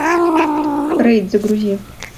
рейд загрузи